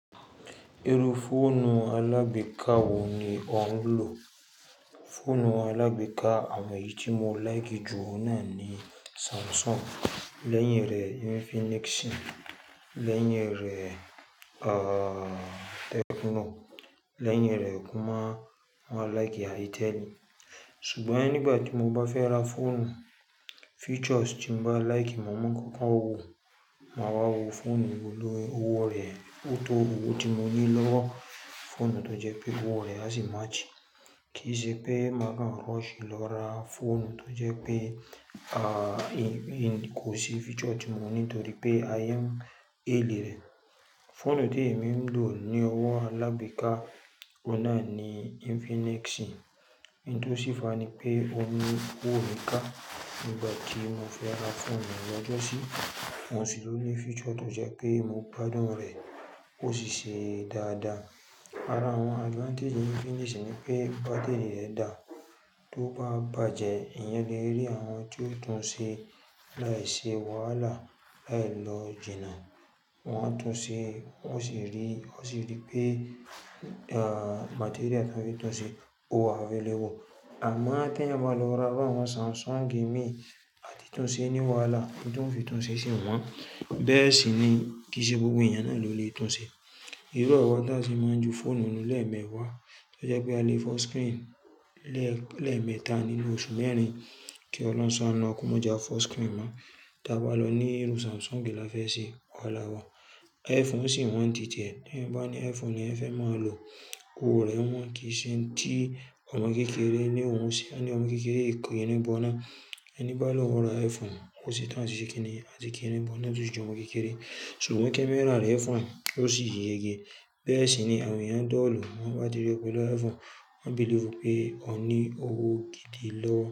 Irú fóònù alágbèéká wo ni o ń lò? Fóònù alágbèéká àwọn èyí tí mo láìkì jù ọ́un nàa ni Samsung, lẹ́yìn rẹ̀ Infinix, lẹ́yìn rẹ̀, ah, Tecno, lẹ́yìn rẹ̀ kó má, máa láìkì Itel. Ṣùgbọ́n nígbà tí mo bá fẹ́ ra fóònù, features tí mo bá láìkì mo máa koko wó, máa wá wo fóònù wo lórí owó rẹ̀, ó tó owó tí mo ní lówó fóònù tó jẹ́ pé owó rẹ̀ á sì match. Kì í ṣe pé màá kan rush lọ ra fóònù tó jẹ́ pé, ah, èmi kò sí feature tí mo ní nítorí pé ayé n haili rẹ̀. Fóònù tí èmi ń lò ní ọwọ́ alágbẹ́ká ọ̀un nà ni Infinix. Ohun tó sì fàá ni pé óun ní owó mi ká nígbà tí mo fẹ́ ra fóònù lọ́jọ́sí. Oun sì ló ní features tó jẹ́ pé mo gbádùn rẹ̀ ó sì ṣe dáadáa. Ara àwọn advantage Infinix ni pé bátírì rẹ̀ dà. Tó bá bàjẹ́, èèyàn lè rí àwọn tí ó tún un ṣe láìṣe wàhálà, láì lọ jìnà. Wọn á tún un ṣe, wọn sì rí, wọn sì rí pé, ah, material tí wọ́n fi tún un ṣe ó wà available. Àmọ́ teẹ̀yan ba lọ ra iru àwọn Samsung Mii, a ti túnṣe ní wàhálà. Ín ti won fi túnṣe sí wọn. Bẹ́ẹ̀ sì ni kì í ṣe gbogbo èèyàn náà ló lè tún ṣe. Irú awa ta sì máa ń ju fóònù nù lẹ́ẹ̀mẹwa, tó jẹ́ pé a lè fo screen lẹ́ẹ̀, lẹ́ẹ̀mẹta nínú oṣù mẹ́rin kí ọlọ́run ṣáanu wa k'ómọ je a fo screen mọ́. Tí a bá lọ ní irú Samsung la fẹ́ ṣe, wàhálà wa. iPhone sì wọ́n ntitie, teeyan bà ní iPhone leeyan fẹ́ mo lò, owó rẹ̀ wọ́n kì í ṣe nti ọmọ kékeré ni òun sì won ní ọmọ kékeré ì kirin bọ́na. Ẹni bá lọhun ra iPhone, ò setan áti se kíni, àti kí irn bọ́na tó si j'ọmọ kékeré. Ṣùgbọ́n camera rẹ̀ fine ó sì yége. Bẹ́ẹ̀ sì ni àwọn èèyàn dull, tan bá ti rí po lọ iPhone, wọ́n believe pé ó ní owó gidi lọ́wọ́.